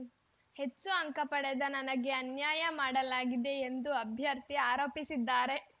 ಹೆಚ್ಚು ಅಂಕ ಪಡೆದ ನನಗೆ ಅನ್ಯಾಯ ಮಾಡಲಾಗಿದೆ ಎಂದು ಅಭ್ಯರ್ಥಿ ಆರೋಪಿಸಿದ್ದಾರೆ